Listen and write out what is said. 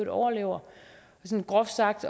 overlever sådan groft sagt